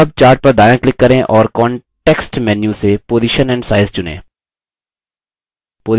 अब chart पर दायाँclick करें और context menu से position and size चुनें